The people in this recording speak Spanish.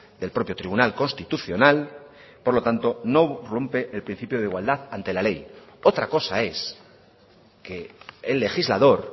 del propio tribunal constitucional por lo tanto no rompe el principio de igualdad ante la ley otra cosa es que el legislador